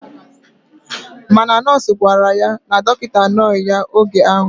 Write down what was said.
Mana nọọsụ gwara ya na dokita anoghi ya oge ahu.